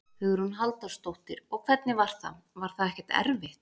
Hugrún Halldórsdóttir: Og hvernig var það, var það ekkert erfitt?